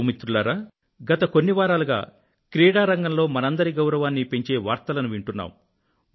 నా యువమిత్రులారా గత కొన్ని వారాలుగా క్రీడారంగంలో మనందరి గౌరవాన్ని పెంచే వార్తలను వింటున్నాం